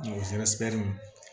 O fɛnsɛ